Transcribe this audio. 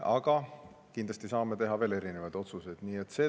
Aga kindlasti saame teha veel otsuseid.